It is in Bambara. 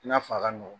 I n'a fɔ a ka nɔgɔn